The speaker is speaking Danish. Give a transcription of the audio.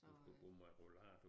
Hun skal gå med rollator